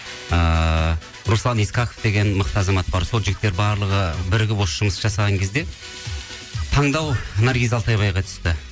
ыыы руслан исқақов деген мықты азамат бар сол жігіттер барлығы бірігіп осы жұмысты жасаған кезден таңдау наргиз алтайбайға түсті